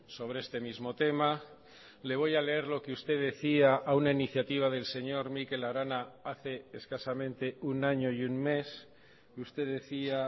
sobre este mismo tema le voy a leer lo que usted decía a una iniciativa del señor mikel arana hace escasamente un año y un mes usted decía